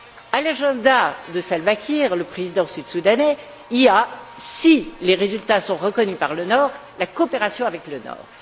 À l'agenda de Salva Kiir, le président sud soudanais, il y a, si les résultats sont reconnus par le Nord, la coopération avec le Nord.